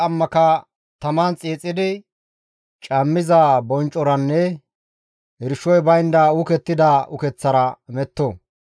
Ashoza he gallas qammaka taman xiixidi, cammiza bonccoranne irshoy baynda uukettida ukeththara metto.